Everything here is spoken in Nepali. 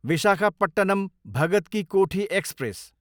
विशाखापट्टनम, भगत कि कोठी एक्सप्रेस